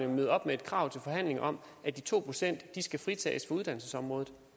møde op med et krav til forhandlingerne om at de to procent skal fritages fra uddannelsesområdet